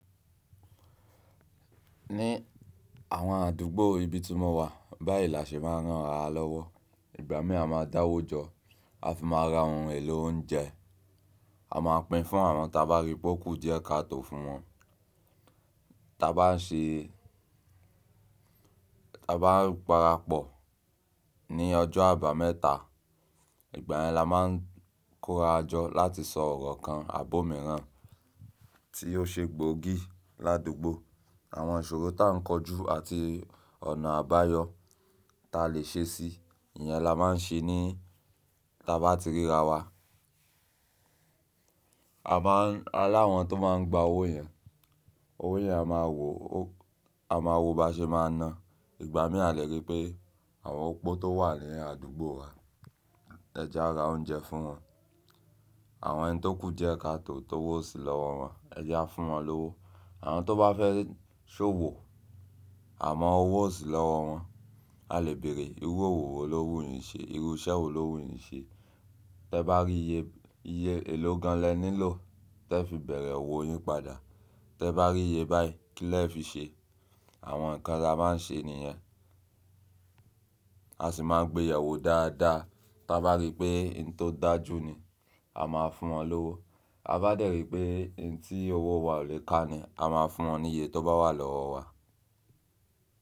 Ní àwọn àdúgbò ibi tí mọ wà báyìí la ṣe máa ń ránra lọ́wọ́. Ìgbà mí à máa dáwó jọ a fi máa ra ohun èlò oúnjẹ, a máa pín fún àwọn ta bá rí pó kù diẹ́ káàtò fún wọn. Ta bá ń ṣe, ta bá ń parapọ̀ ní ọjọ́ àbámẹ́ta ìgbà yẹn la máa ń kóra jọ láti sọ ọ̀rọ̀ kan, àbọ̀míràn tí ó ṣe gbòógì ládùgbò. Àwọn ìṣòro ta ń kọjú àti ọ̀nà àbáyọ ta lè ṣe sí i, ìyẹn la máa ń ṣe ní ta bá ti ríra wa. Ta bá ń, àní àwọn tí o máa ń gbà owó yẹn owó yẹn a máa wò ba ṣe máa náà. Ìgbà mí a lè rí pé àwọn opó tó wà ni àdúgbò wa, ẹ̀jẹ̀ a ra oúnjẹ fún wọn. Àwọn ẹni tó kù diẹ́ káàtò tówò ó sí lọ́wọ́ wọn ẹ̀jẹ̀ a fún wọn lówó. Àwọn tó bá fẹ́ ṣòwò àmọ owó ó sí lọ́wọ́ wọn. A lè bèrè irú òwò wo lówó yìí ń ṣe? Irú iṣẹ́ wo lówó yìí ń ṣe? Tẹ bá rí iye, iye èló gan an lẹ nílò tẹ fi bẹ̀rẹ̀ òwò yín padà. Tẹ bá rí iyé báyìí kí lẹ fi ṣe? Àwọn nkán tá máa ń se nìyẹn. A sì máa gbéyẹwò dáadáa tá bá rí pé ohun tó dájú ni a máa fún wọn lówó. Tabá dẹ̀ ri pé ohun tí owó wa ò lè ká ni a máa fún wọn ní iye tó bá wà lọ́wọ́ wa.